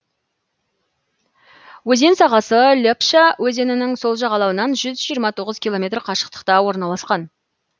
өзен сағасы лепша өзенінің сол жағалауынан жүз жиырма тоғыз километр қашықтықта орналасқан